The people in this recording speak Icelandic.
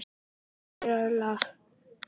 Lýra, spilaðu lag.